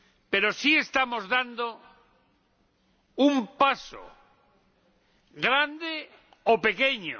pero sí estamos dando un paso, grande o pequeño